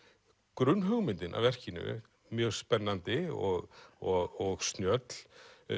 grunnhugmyndin að verkinu mjög spennandi og og snjöll